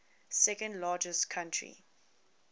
second largest country